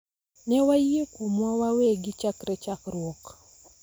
Ne wayie kuomwa wawegi chakre chakruok